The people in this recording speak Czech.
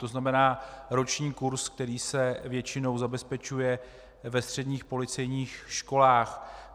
To znamená, roční kurz, který se většinou zabezpečuje ve středních policejních školách.